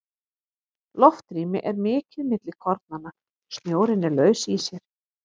Loftrými er mikið milli kornanna, snjórinn er laus í sér.